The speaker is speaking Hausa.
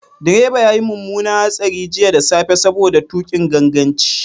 Direba ya yi mummunar hatsari jiya da safe saboda tuƙin ganganci.